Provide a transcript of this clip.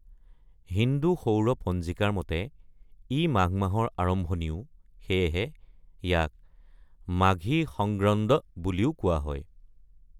হিন্দু সৌৰ পঞ্জিকাৰ মতে, ই মাঘ মাহৰ আৰম্ভণিও, সেয়েহে ইয়াক ‘মাঘী সংগ্ৰন্দ’ বুলিও কোৱা হয়।